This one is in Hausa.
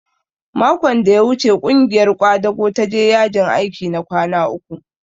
Makon da ya wuce ƙungiyar ƙwadago ta je yajin aiki na kwana uku